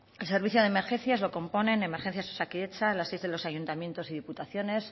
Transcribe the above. el servicio de emergencias lo componen emergencias osakidetza las de los ayuntamientos y diputaciones